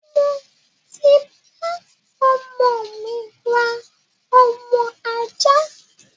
Mo ti bá ọmọ mi rà ọmọ ajá